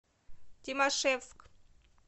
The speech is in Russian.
тимашевск